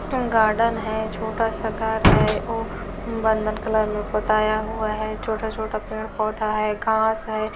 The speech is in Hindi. गार्डन है छोटा सा घर है और बनंदन कलर में पुताया हुआ है छोटा-छोटा पेड़-पौधा है घांस है।